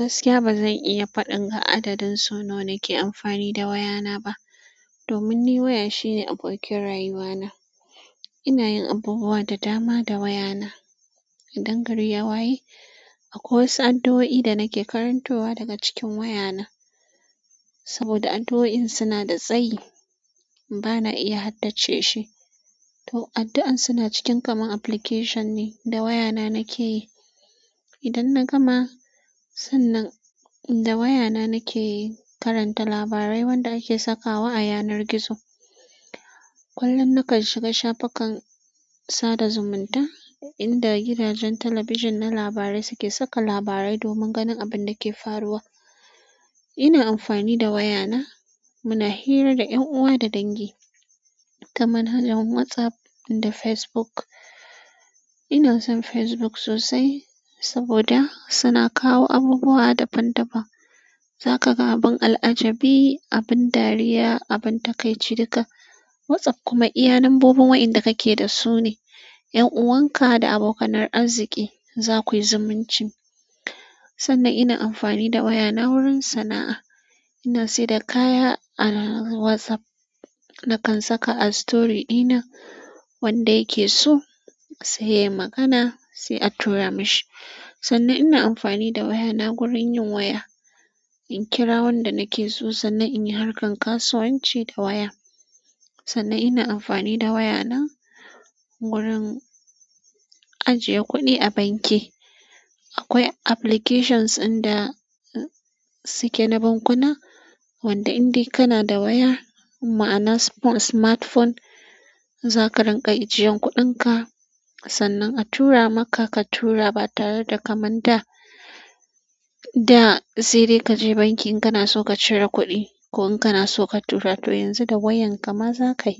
Gaskiya ba zan iya faɗin ga adadin so nawa ke amfani da wayana ba, domin ni waya shine abokin rayuwana. Ina yin abubuwa da dama da wayana. In gari ya waye? Akwai wasu addu'o'i da nake karantowa daga cikin wayana. Saboda addu'oin suna da tsayi, ba na iya haddace shi. To addu'an suna cikin kamar application ne da wayana nake yi. Idan na gama, sannan da wayana nake karanta labarai wanda ake sakawa a yanar gizo. Kullun nakan shiga shafukan sada zumunta inda gidajen talabijin na labarai suke saka labarai domin ganin abin da ke faruwa. Ina amfani da wayana mu na hira da 'yan uwa da dangi, kamar hanyar WhatsApp da Facebook. Ina son Facebook sosai saboda suna kawo abubuwa daban-daban. Za ka ga abin al'ajabi, abin dariya, abin takaici duka. WhatsApp kuma iya, lambobin wa inda ka ke da su ne, 'yan'uwan ka da abokanar arziki za ku yi zumunci. Sannan ina amfani da wayana wurin sana'a. Ana sai da kaya a whatsapp nakan saka a story ɗina wanda ya ke so sai yayi magana sai a tura mishi. Sannan ina amfani da wayana gurin yin waya. In kira wanda nake so sannan in yi harkan kasuwanci da waya. Sannan ina amfani da wayana wurin ajiye kuɗi a banki. Akwai applications inda suke na ban kuna wanda in dai kana da waya, ma'ana smartphone, za ka rinƙa ijiyen kuɗin ka. Sannan a tura maka ka tura ba tare da ka man da da sai dai ka je banki in kana so ka cire kuɗi ko in kana so ka tura. To yanzu da wayan ka ma za kai.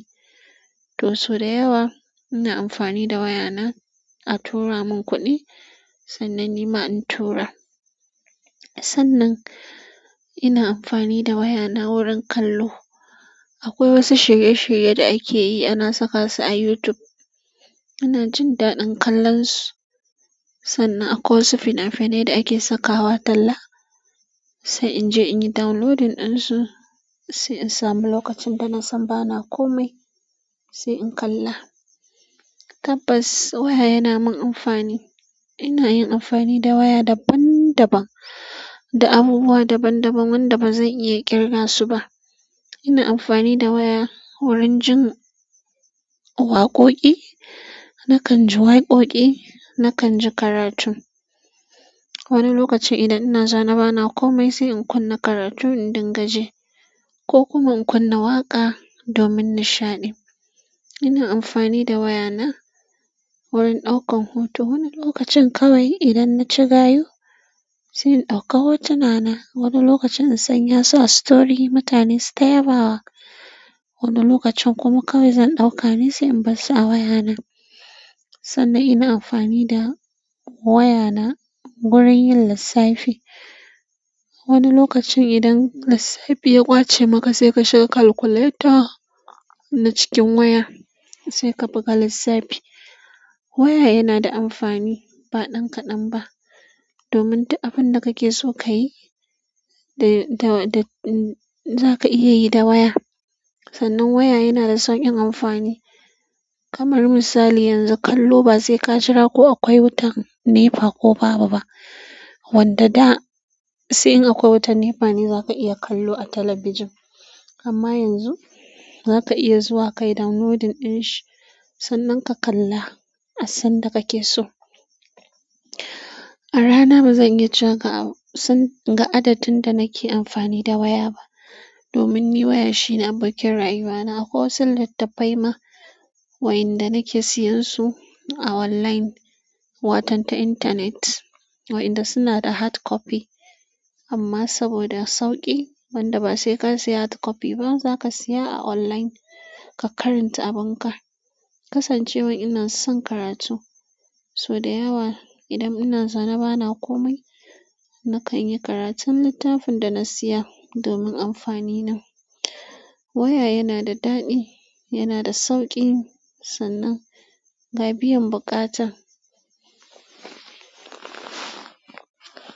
To so da yawa ina amfani da wayana a tura mun kuɗi sannan nima in tura. Sannan ina amfani da wayana wurin kallo. Akwai wasu shirye-shirye da ake yi ana saka su a YouTube. Ina jin daɗin kallon su sannan akwai wasu fina-finai da ake sakawa talla sai in je in yi downloading ɗin su sai in samu lokacin da nasan bana komai sai in kalla. Tabbas waya yana mun amfani. Ina yin amfani da waya daban-daban, da abubuwa daban-daban wanda ba zan iya ƙirga su ba. Ina amfani da waya wurin jin waƙoƙi. Nakan ji waƙoƙi, nakan ji karatun. Wani lokacin idan ina zaune bana komai sai in kunna karatu in dinga ji ko kuma in kunna waƙa domin nishaɗi. Ina amfani da wayana wurin ɗaukan hoto. Wani lokacin kawai idan na ci gayu sai in ɗauka hotuna na. Wani lokacin in sanya su a story mutane sita yaba wa. Wani lokacin kuma kawai zan ɗauka ne sai in bar su a wayana. Sannan ina amfani da wayana wurin yin lissafi. Wani lokacin idan lissafi ya ƙwace maka sai ka shiga calculator na cikin waya sai ka buga lissafi. Waya yana da amfani ba ɗan kaɗan ba. Domin duk abin da kake so ka yi da, da, da, za ka iya yi da waya. Sannan waya yana da sauƙin amfani. Kamar misali yanzu kallo ba sai ka jira ko akwai wutan nefa ko babu ba. Wanda da sai in akwai wutan nefa ne za ka iya kallo a talabijin. Amma yanzu za ka iya zuwa ka yi downloading ɗin shi sannan ka kalla a sanda kake so. A rana bazan iya cewa ga san adadin da nake amfani da waya ba. Domin ni waya shine abokin rayuwana. Akwai wasu littatafai ma wa inda nake siyan su a online, watan ta internet wayanda suna da hardcopy. Amma saboda sauƙi, wanda ba sai ka siya hardcopy ba, za ka siya a online ka karanta abin ka. Kasan cewan ina son karatu, so da yawa idan ina zaune bana komai nakan yi karatun littafin da na siya domin amfani na. Waya yana da daɗi, yana da sauƙi sannan ga biyan buƙatan.